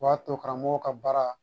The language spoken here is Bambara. O b'a to karamɔgɔw ka baara